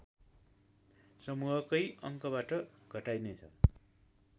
समूहकै अङ्कबाट घटाइनेछ